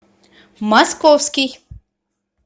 московский